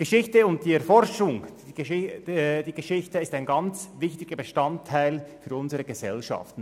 Die Geschichte und ihre Erforschung sind für unsere Gesellschaft wichtig.